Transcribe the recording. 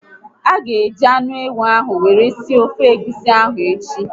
A ga eji anụ ewu ahụ were sie ofe egwusi ahụ echi